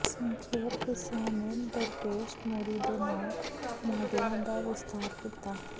ਸੰਖੇਪ ਹਿੱਸਿਆਂ ਨੇ ਦਰਪੇਸ਼ ਮੋਰੀ ਦੇ ਨਾਲ ਮਾਡਲਾਂ ਦਾ ਵਿਸਥਾਰ ਕੀਤਾ